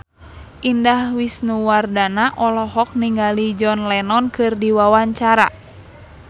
Indah Wisnuwardana olohok ningali John Lennon keur diwawancara